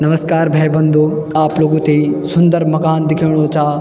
नमस्कार भै बंधू आप लोगों थेइ सुन्दर मकान दिख्येणू चा।